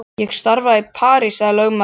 Ég starfa í París sagði lögmaðurinn.